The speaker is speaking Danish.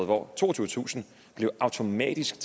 hvor toogtyvetusind automatisk